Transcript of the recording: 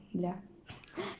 для